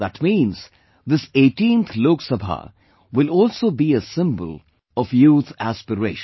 That means this 18th Lok Sabha will also be a symbol of youth aspiration